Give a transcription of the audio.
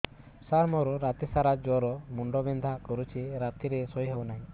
ସାର ମୋର ରାତି ସାରା ଜ୍ଵର ମୁଣ୍ଡ ବିନ୍ଧା କରୁଛି ରାତିରେ ଶୋଇ ହେଉ ନାହିଁ